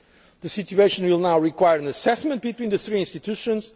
during the European Council. The situation will now require an assessment